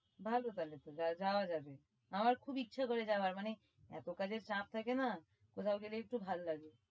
ভালো তাহলে তো আমার খুব ইচ্ছা করে যাওয়ার মানে এতো কাজের চাপ থাকে না কোথাও গেলে একটু ভালো লাগে।